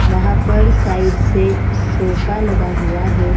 वहा पर साइड से सोफा लगा हुआ है।